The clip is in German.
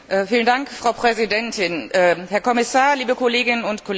Frau Präsidentin, Herr Kommissar, liebe Kolleginnen und Kollegen!